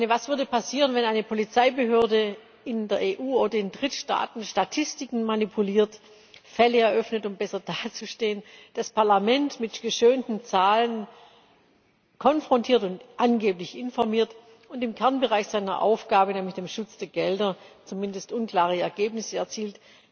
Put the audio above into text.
Was würde denn passieren, wenn eine Polizeibehörde in der EU oder in Drittstaaten Statistiken manipuliert, Fälle eröffnet, um besser dazustehen, das Parlament mit geschönten Zahlen konfrontiert und angeblich informiert und im Kernbereich ihrer Aufgabe, nämlich dem Schutz der Gelder, zumindest unklare Ergebnisse erzielt?